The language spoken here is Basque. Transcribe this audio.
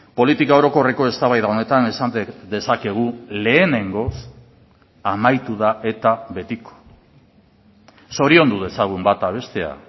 politika orokorreko eztabaida honetan esan dezakegu lehenengoz amaitu da eta betiko zoriondu dezagun bata bestea